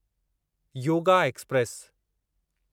yoga express